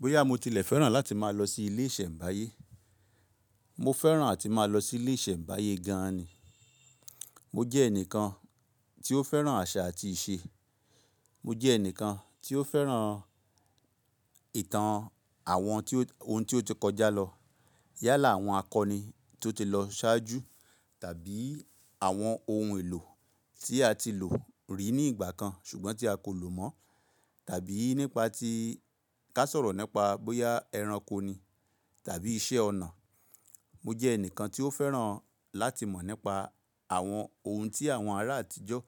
Bóyá mo tilẹ̀ fẹ́ràn láti máa lọ sí ilé ìṣẹ̀mbáyé. Mo fẹ́ràn àti máa lọ sí ilé ìṣẹ̀mbáyé gan ni. Mo jẹ́ ẹnìkan tí ó fẹ́ràn àṣà àti ìṣe. Mo jẹ́ ẹnìkan tí ó fẹ́ràn ìtàn àwọn ohun tí ó ti kọjá lọ. Yálà àwọn akọni tó ti lọ ṣáájú tàbí àwọn ohun èlò tí a ti lò rí ní ìgbà kan ṣùgbọ́n tí a kò lò mọ́ tàbí nípa tí ká sọ̀rọ̀ nípa bóyá ẹranko ni tàbí iṣẹ́ ọnà. Mo jẹ́ ẹnìkan tí ó fẹ́ràn láti mọ̀ nípa àwọn ohun tí àwọn ará àtijọ́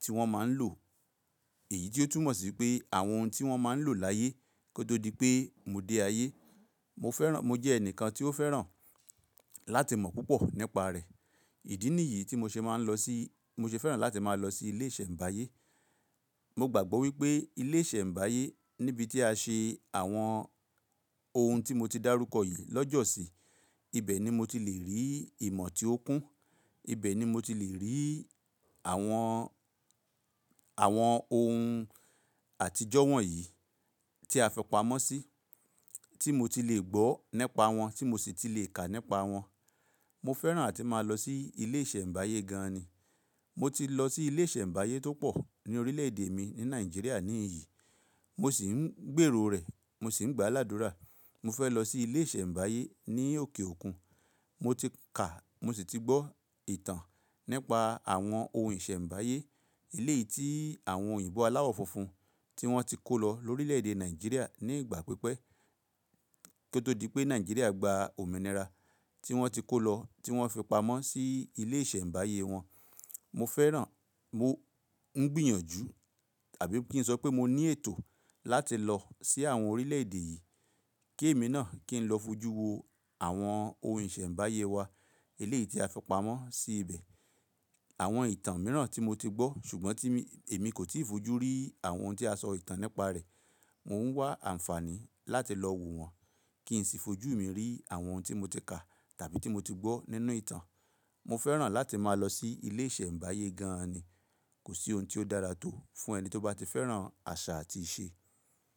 tí wọ́n máa ń lò. Èyí tí ó túmọ̀ sí pé àwọn ohun tí wọ́n máa ń lò láyé kó tó di pé mo dé ayé. Mo fẹ́ràn-- mo jẹ́ ẹnìkan tí ó fẹ́ràn láti mọ̀ púpọ̀ nípa rẹ̀. Ìdí nìyí tí mo ṣe máa ń lọ sí-tí- mo ṣe fẹ́ràn láti máa lọ sí ilé ìṣẹ̀mbáyé. Mo gbàgbọ́ wípé ilé ìṣẹ̀mbáyé níbi tí a ṣe àwọn ohun tí mo ti dárúkọ yìí lọ́jọ́ sí, ibẹ̀ ni mo ti le rí ìmọ̀ tí ó kún. Ibẹ̀ ni mo ti le rí àwọn, àwọn ohun àtijọ́ wọ̀nyí tí a fipamọ́ sí, tí mo ti le gbọ́ nípa wọn, tí mo sì ti le kà nípa wọn. Mo fẹ́ràn àti máa lọ sí ilé ìṣẹ̀mbáyé gan ni. Mo ti lọ sí ilé ìṣẹ̀mbáyé tó pọ̀ ní orílẹ̀ èdè mi ní Nàìjíríà ní Ìhín yí, mo sì ń gbèrò rẹ̀, mo sì ń gbá ládùrá. Mo fẹ́ lọ sí ilé ìṣẹ̀mbáyé ní òkè òkun. Mo ti kà, mo sì ti gbọ́ ìtàn nípa àwọn ohun ìṣẹ̀mbáyé. Eléyìí tí àwọn òyìnbó aláwọ̀ funfun tí wọ́n ti kó lọ lórílẹ̀ èdè Nàìjíríà ní ìgbà pípẹ́ kó tó di pé Nàìjíríà gba òmìnira tí wọ́n ti kó lọ, tí wọ́n fi pamọ́ sí ilé ìṣẹ̀mbáyé wọn. Mo fẹ́ràn, mo ń gbìyànjú tàbí kí n sọ pé mo ní ètò láti lọ sí àwọn orílẹ̀ èdè yìí kí èmi náà kí n lọ fojú wo àwọn ohun ìṣẹ̀mbáyé wa. Eléyìí tí a fipamọ́ sí ibẹ̀. Àwọn ìtàn mìíràn tí mo ti gbọ́ ṣùgbọ́n tí èmi kò tí ì fojú rí àwọn ohun tí a sọ ìtàn nípa rẹ̀. Mo ń wá àǹfààní láti lọ wo wọn kí n sì fojú mi rí àwọn ohun tí mo ti kà tàbí tí mo ti gbọ́ nínú ìtàn. Mo fẹ́ràn láti máa lọ sí ilé ìṣẹ̀mbáyé gan ni. Kò sí ohun tí ó dára tó fún ẹni tí ó bá ti fẹ́ràn àṣà àti ìṣe.